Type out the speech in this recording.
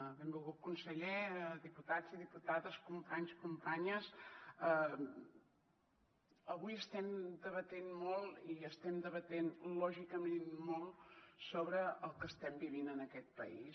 benvolgut conseller diputats i diputades companys companyes avui estem debatent molt i estem debatent lògicament molt sobre el que estem vivint en aquest país